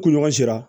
Kuɲɔgɔn sera